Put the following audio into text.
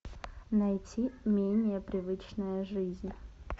найти менее привычная жизнь